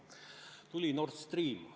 Tuli Nord Stream.